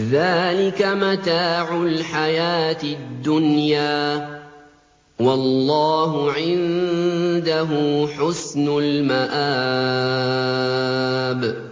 ذَٰلِكَ مَتَاعُ الْحَيَاةِ الدُّنْيَا ۖ وَاللَّهُ عِندَهُ حُسْنُ الْمَآبِ